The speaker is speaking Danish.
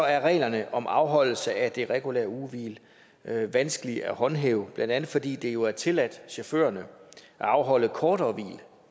er reglerne om afholdelse af det regulære ugehvil vanskelige at håndhæve blandt andet fordi det jo er tilladt chaufførerne at afholde kortere hvil